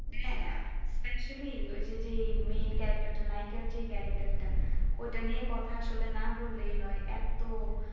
হ্যাঁ, actually যদি main character টা নাই আগেকার যে character টা ওটা নিয়ে কথা আসলে না বললেই নয় এত